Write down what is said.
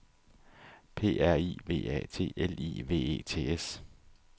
P R I V A T L I V E T S